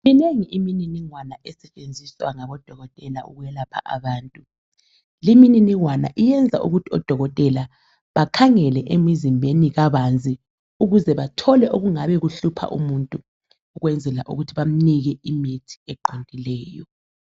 Minengi imininingwane esetshenziswa ngodokotela ukwelapha abantu. Limininingwane iyenza ukuthi odokotela bakhangele emzimbeni kabanzi ukuze babone okungabe kuhlupha umuntu ukwenzela ukuthi bamuphe imithi eqondileyo.